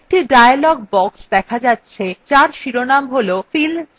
একটি dialog box দেখা যাচ্ছে যার শিরোনাম হল fill series